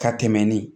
Ka tɛmɛn ni